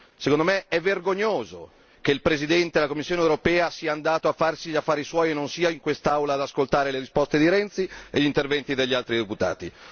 Secondo me è vergognoso che il Presidente della Commissione europea sia andato a farsi gli affari suoi e non sia in quest'Aula ad ascoltare le risposte di Renzi e gli interventi degli altri deputati.